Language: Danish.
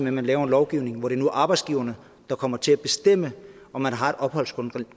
at man laver en lovgivning hvor det nu er arbejdsgiverne der kommer til at bestemme om man har et opholdsgrundlag